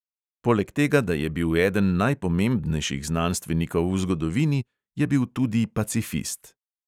Poleg tega da je bil eden najpomembnejših znanstvenikov v zgodovini, je bil tudi pacifist.